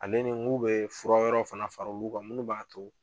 Ale ni n k'u be fura wɛrɛw fana fara olu kan minnu b'a to